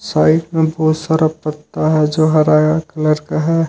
Side में बहुत सारा पत्ता है जो हरा कलर का है।